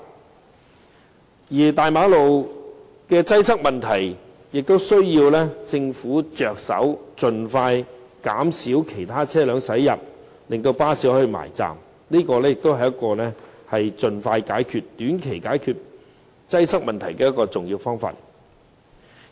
至於元朗大馬路的擠塞問題，也需要由政府着手，盡快減少其他車輛駛入，使巴士可以順利靠站，這也是一個在短期盡快解決交通擠塞的重要方法。